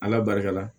Ala barika la